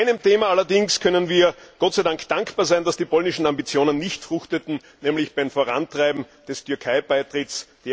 Bei einem Thema allerdings können wir Gott sei Dank dankbar sein, dass die polnischen Ambitionen nicht fruchteten, nämlich beim Vorantreiben des Türkeibeitritts.